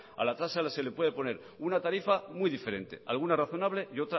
a la tasas se le puede poner una tarifa muy diferente alguna razonable y